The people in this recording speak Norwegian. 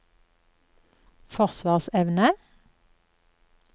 forsvarsevne